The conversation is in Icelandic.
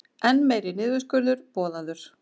Enn meiri niðurskurður boðaður